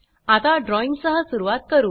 आता ड्रॉईंग सह सुरवात करू